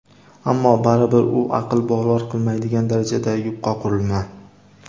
ammo baribir u aql bovar qilmaydigan darajada yupqa qurilma.